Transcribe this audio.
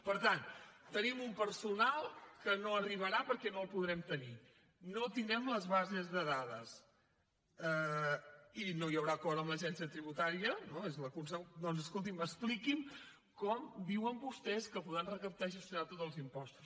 per tant tenim un personal que no arribarà perquè no el podrem tenir no tindrem les bases de dades i no hi haurà acord amb l’agència tributària no doncs escolti’m expliqui’m com diuen vostès que podran recaptar i gestionar tots els impostos